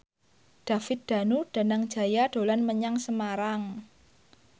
David Danu Danangjaya dolan menyang Semarang